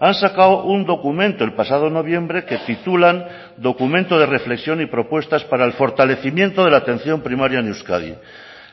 han sacado un documento el pasado noviembre que titulan documento de reflexión y propuestas para el fortalecimiento de la atención primaria en euskadi